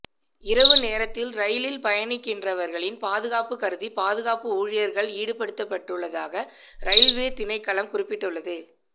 இரவு நேரத்தில் ரயிலில் பயணிக்கின்றவர்களின் பாதுகாப்பு கருதி பாதுகாப்பு ஊழியர்கள் ஈடுபடுத்தப்பட்டுள்ளதாக ரயில்வே திணைக்களம் குறிப்பிட்டுள்ளது